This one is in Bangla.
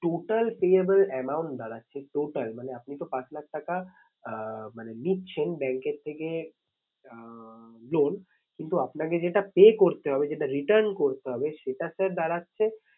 Total payable amount দাঁড়াচ্ছে total মানে আপনি তো পাঁচ লাখ টাকা আঁ মানে নিচ্ছেন bank এর থেকে আঁ loan কিন্তু আপনাকে যেটা pay করতে হবে যেটা return করতে হবে সেটা sir দাঁড়াচ্ছে